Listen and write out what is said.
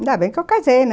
Ainda bem que eu casei, né?